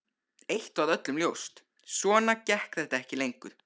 Eitt var öllum ljóst: Svona gekk þetta ekki lengur.